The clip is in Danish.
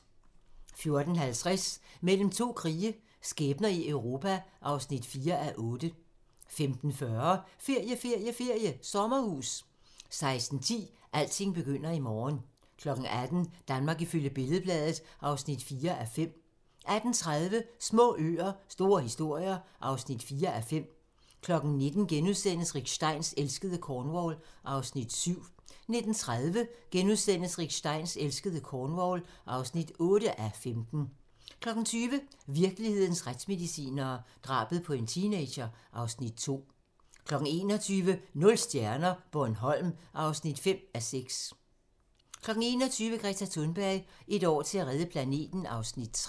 14:50: Mellem to krige - skæbner i Europa (4:8) 15:40: Ferie, ferie, ferie: Sommerhus 16:10: Alting begynder i morgen 18:00: Danmark ifølge Billed-Bladet (4:5) 18:30: Små øer – store historier (4:5) 19:00: Rick Steins elskede Cornwall (7:15)* 19:30: Rick Steins elskede Cornwall (8:15)* 20:00: Virkelighedens retsmedicinere - drabet på en teenager (Afs. 2) 21:00: Nul stjerner - Bornholm (6:5) 21:30: Greta Thunberg: Et år til at redde planeten (Afs. 3)